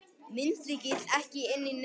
Myndlykill ekki inni í nefskatti